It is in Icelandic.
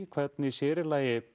hvernig sér í lagi